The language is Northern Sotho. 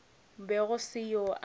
be go se yoo a